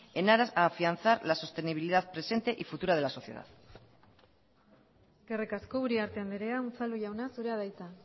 en aras a afianzar la sostenibilidad presente y futura de la sociedad eskerrik asko uriarte andrea unzalu jauna zurea da hitza